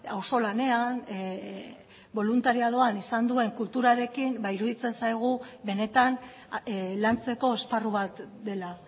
auzolanean boluntariadoan izan duen kulturarekin iruditzen zaigu benetan lantzeko esparru bat dela